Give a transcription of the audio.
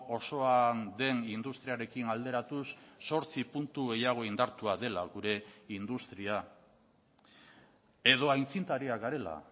osoa den industriarekin alderatuz zortzi puntu gehiago indartua dela gure industria edo aitzindariak garela